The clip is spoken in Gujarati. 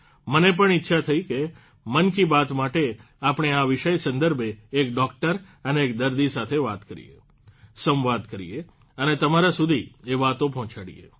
મને પણ ઇચ્છા થઇ કે મન કી બાત માટે આપણે આ વિષય સંદર્ભે એક ડોકટર અને એક દર્દી સાથે વાત કરીએ સંવાદ કરીએ અને તમારા સુધી એ વાતો પહોંચાડીએ